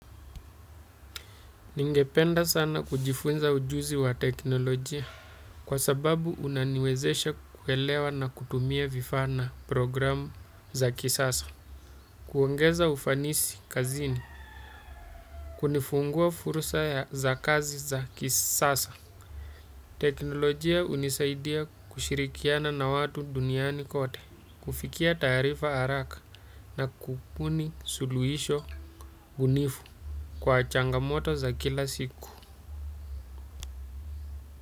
Ningependa sana kujifunza ujuzi wa teknolojia kwa sababu unaniwezesha kuelewa na kutumia vifaa na programu za kisasa. Kuongeza ufanisi kazini. Kunifungua furrsa za kazi za kisasa. Teknolojia unisaidia kushirikiana na watu duniani kote. Kufikia taarifa haraka na kubuni suluhisho bunifu kwa changamoto za kila siku.